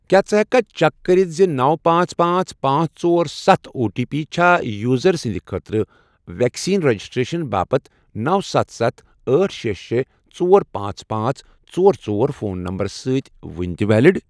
کیٛاہ ژٕ ہیٚککھا چیک کٔرِتھ زِ نو پانٛژ پانٛژ پانٛژ ژور ستھ او ٹی پی چھا یوزر سٕنٛدِ خٲطرٕ ویکسین رجسٹریشن باپتھ نو ستھ ستھ ٲٹھ شےٚ شےٚ ژور پانٛژ پانٛژ ژور ژور فون نمبرَس سۭتۍ وُنہِ تہِ ویلِڑ؟